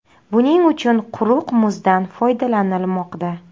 Buning uchun quruq muzdan foydalanilmoqda.